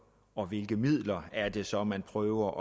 og hvilke midler er det så man prøver